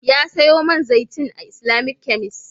Ya sayo man zaitin a Islamic kemis